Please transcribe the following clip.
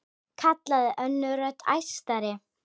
kallaði önnur rödd, æstari.